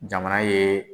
Jamana ye